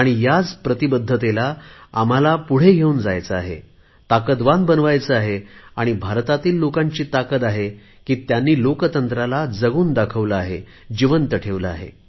ह्याच प्रतिबद्धतेला आम्हाला पुढे घेऊन जायचे आहे ताकदवान बनवायचे आहे आणि भारतातील लोकांची ताकद आहे की त्यांनी लोकशाही जगून दाखवली आहे जिवंत ठेवली आहे